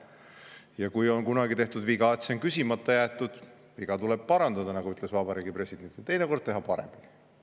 Ja kui on kunagi tehtud viga, et see on küsimata jäetud, siis tuleb viga parandada, nagu ütles Vabariigi President, ja teinekord teha paremini.